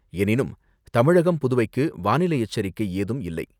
எனினும், தமிழகம் புதுவைக்கு வானிலை எச்சரிக்கை ஏதும் இல்லை.